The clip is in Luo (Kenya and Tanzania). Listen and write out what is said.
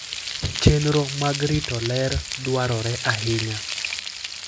Chenro mag rito ler dwarore ahinya.